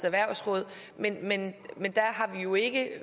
erhvervsråd men men